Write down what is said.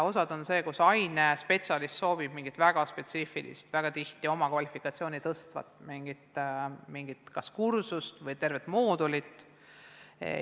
Osa on sellised, et ainespetsialist soovib mingit väga spetsiifilist, oma kvalifikatsiooni tõstvat kursust või tervet moodulit.